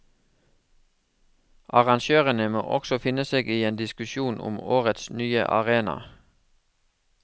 Arrangørene må også finne seg i en diskusjon om årets nye arena.